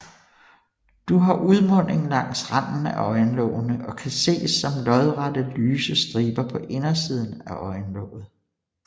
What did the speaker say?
Du har udmunding langs randen af øjenlågene og kan ses som lodrette lyse striber på indersiden af øjenlåget